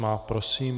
Má, prosím.